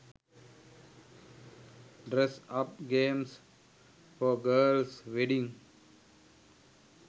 dress up games for girls wedding